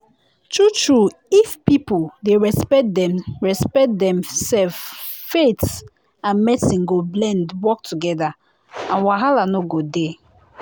true true if people dey respect dem respect dem self faith and medicine go blend work together and wahala no go dey.